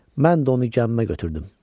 Mən də onu gəmimə götürdüm.